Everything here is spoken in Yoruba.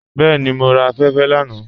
Bẹẹni, mọ ra afẹ́fẹ́ lánà.